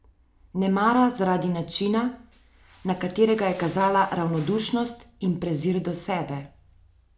Nemara zaradi načina, na katerega je kazala ravnodušnost in prezir do sebe.